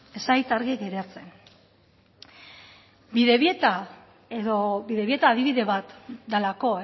ez zait argi geratzen bidebieta edo bidebieta adibide bat delako